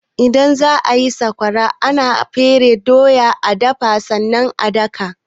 Idan za a yi sakwara, ana fere doya,a dafa sannan a daka.